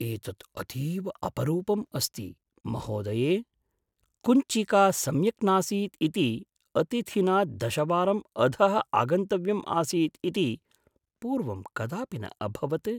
एतत् अतीव अपरूपम् अस्ति, महोदये। कुञ्चिका सम्यक् नासीत् इति अतिथिना दशवारम् अधः आगन्तव्यम् आसीत् इति पूर्वं कदापि न अभवत्।